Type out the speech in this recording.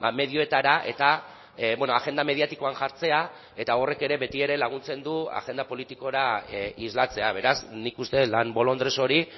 medioetara eta agenda mediatikoan jartzea eta horrek ere beti ere laguntzen du agenda politikora islatzea beraz nik uste dut lan bolondres hori